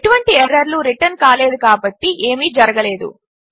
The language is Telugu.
ఎటువంటి ఎర్రర్లు రిటర్న్ కాలేదు కాబట్టి ఏమీ జరగలేదు